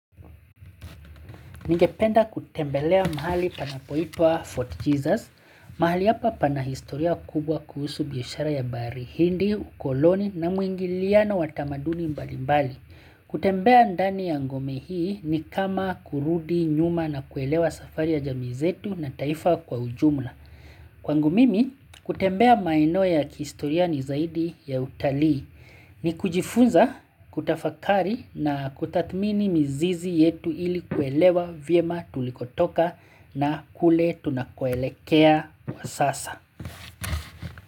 Ningependa kutembelea mahali panapoitwa Fort Jesus, mahali hapa pana historia kubwa kuhusu biashara ya bahari hindi, ukoloni na mwingiliano watamaduni mbali mbali. Kutembea ndani ya ngome hii ni kama kurudi nyuma na kuelewa safari ya jamii zetu na taifa kwa ujumla. Kwangu mimi, kutembea maeneo ya kihistoria ni zaidi ya utalii ni kujifunza kutafakari na kutathmini mizizi yetu ili kuelewa vyema tulikotoka na kule tunakoelekea kwa sasa.